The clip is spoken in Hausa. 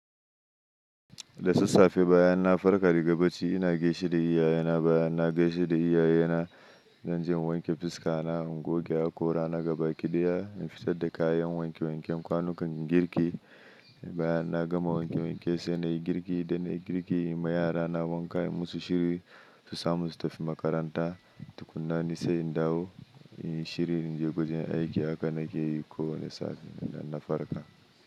Da sassafe bayan na farka daga bacci ina gaishe da iyayena. Bayan na gaishe da iyayena, zan je in wanke fuska na, in goge hakora na gaba kiɗiya, in fitar da kayan wanke wanken kwanukan girki. Bayan na gama wanke wanke sai na yi girki. Da na yi girki, ma yara na ban kai musu shiri su samu su tafi makaranta. Tukuna ni sai in dawo in yi shirin in je wajen aiki haka nake yi ko wani safe dana farka.